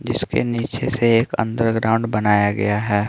जिसके नीचे से एक अंदरग्राउंड बनाया गया है।